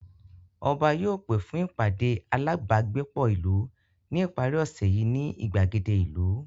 Ọba yóò pè fún ìpàdé alábágbépọ̀ ìlú ní ìparí ọ̀sẹ̀ yìí ní ìgbàgede ìlú